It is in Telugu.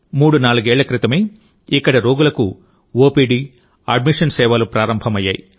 మూడునాలుగేళ్ల క్రితమే ఇక్కడ రోగులకు ఓపీడీ అడ్మిషన్ సేవలు ప్రారంభమయ్యాయి